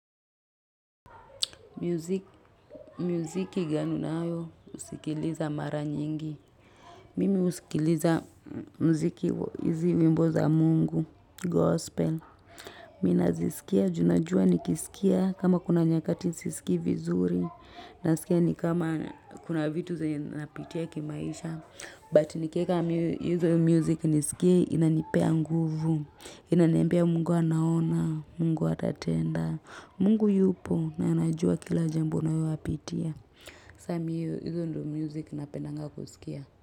Muziki gani unayo, usikiliza mara nyingi. Mimi husikiliza mziki wa hizi nyimbo za mungu, gospel. Ninaziskia, juu najua nikisikia kama kuna nyakati siskii vizuri. Nasikia nikama kuna vitu zenye ninapitia kimaisha But nikieka hizo music niskie inanipea nguvu Inaniambia Mungu anaona, Mungu atatenda. Mungu yupo na anajua kila jambo na wapitia Samii hizi ndio music napendanga kuskia.